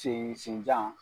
Sen senjan.